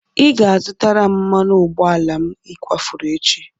Ị ga-azụtara m mmanụ ụgbọala m ị kwafuru echi!